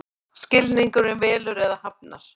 Skilningurinn velur eða hafnar.